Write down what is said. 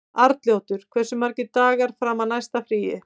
Arnljótur, hversu margir dagar fram að næsta fríi?